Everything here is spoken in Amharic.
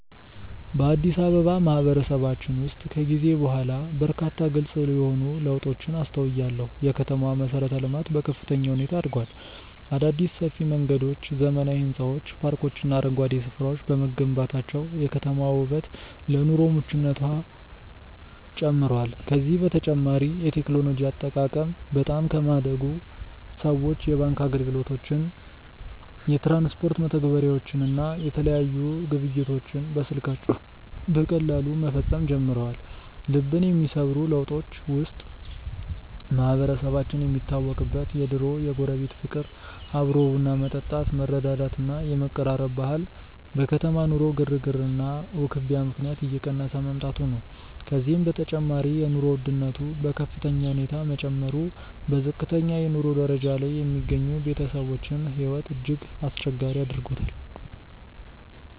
በአዲስ አበባ ማህበረሰባችን ውስጥ ከጊዜ በኋላ በርካታ ግልጽ የሆኑ ለውጦችን አስተውያለሁ። የከተማዋ መሠረተ-ልማት በከፍተኛ ሁኔታ አድጓል። አዳዲስ ሰፊ መንገዶች፣ ዘመናዊ ሕንፃዎች፣ ፓርኮችና አረንጓዴ ስፍራዎች በመገንባታቸው የከተማዋ ውበትና ለኑሮ ምቹነቷ ጨምሯል። ከዚህም በተጨማሪ የቴክኖሎጂ አጠቃቀም በጣም በማደጉ ሰዎች የባንክ አገልግሎቶችን፣ የትራንስፖርት መተግበሪያዎችን እና የተለያዩ ግብይቶችን በስልካቸው በቀላሉ መፈጸም ጀምረዋል። ልብን የሚሰብሩ ለውጦች ውስጥ ማህበረሰባችን የሚታወቅበት የድሮው የጎረቤት ፍቅር፣ አብሮ ቡና መጠጣት፣ መረዳዳት እና የመቀራረብ ባህል በከተማ ኑሮ ግርግርና ውክቢያ ምክንያት እየቀነሰ መምጣቱ ነው። ከዚህም በተጨማሪ የኑሮ ውድነቱ በከፍተኛ ሁኔታ መጨመሩ በዝቅተኛ የኑሮ ደረጃ ላይ የሚገኙ ቤተሰቦችን ሕይወት እጅግ አስቸጋሪ አድርጎታል።